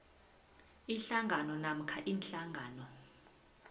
ihlangano namkha iinhlangano